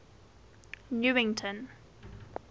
newington